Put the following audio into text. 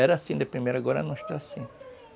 Era assim de primeira, agora não está assim.